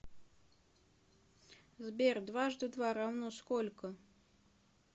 сбер дважды два равно сколько